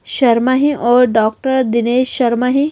शर्मा हे और डॉक्टर दिनेश शर्मा हैं।